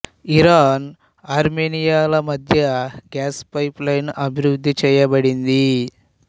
Iran ఆర్మేనియాల మద్య gas pipeline అభివృద్ధి చేయబడింది